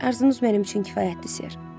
Arzunuz mənim üçün kifayətdir, Ser.